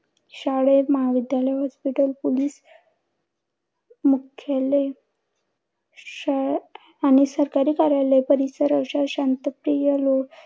शाळे महाविद्यालय hospital, police मुख्यालय शाळेत आणि सरकारी कार्यालय परिसर अशा शांत प्रिय रो